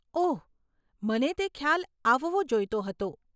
ઓહ, મને તે ખ્યાલ આવવો જોઈતો હતો.